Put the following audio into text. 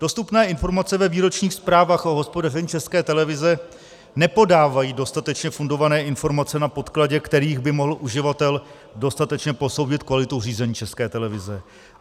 Dostupné informace ve výročních zprávách o hospodaření České televize nepodávají dostatečně fundované informace, na podkladě kterých by mohl uživatel dostatečně posoudit kvalitu řízení České televize.